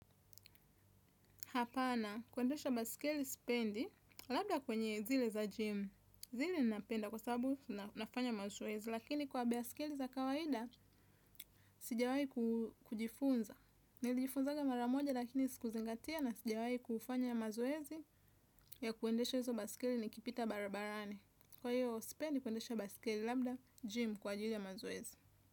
Hapana, kuendesha baisikeli spendi, labda kwenye zile za jim. Zile napenda kwa sababu nafanya mazowezi, lakini kwa baisikeli za kawahida, sijawai kujifunza. Nili jifunzanga maramoja lakini siku zingatia na sijawai kufanya mazowezi ya kuendesha hizo basikili nikipita barabarani. Kwa hiyo, sipendi kuendesha basikeli labda gym kwa ajili ya mazoezi.